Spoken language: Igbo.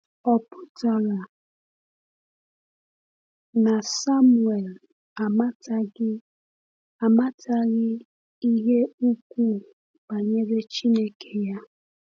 Ọ̀ pụtara na Samuel amataghị amataghị ihe ukwuu banyere Chineke ya?